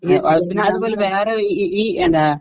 ഈ അത് പിന്നെ അതുപോലെ വേറെ ഈ ഈ എന്താ